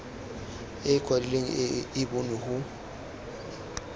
e kwadilweng e bonwe go